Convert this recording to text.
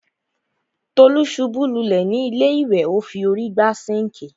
Tolú ṣubú lulẹ̀ ni ilé ìwẹ̀,o fi órí gbá sinkii.